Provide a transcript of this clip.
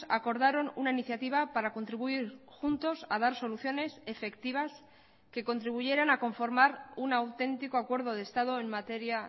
acordaron una iniciativa para contribuir juntos a dar soluciones efectivas que contribuyeran a conformar un auténtico acuerdo de estado en materia